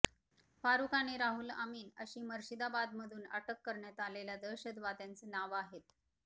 फारुख आणि रहुल अमीन अशी मुर्शिदाबादमधून अटक करण्यात आलेल्या दहशतवाद्यांचं नावं आहेत